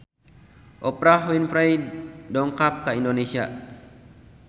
Oprah Winfrey dongkap ka Indonesia